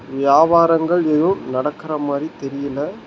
வியாபாரங்கள் எதும் நடக்கற மாறி தெரியல.